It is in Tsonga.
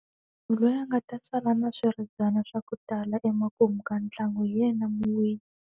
Munhu loyi a nga ta sala na swiribyana swa ku tala emakumu ka ntlangu hi yena muwini.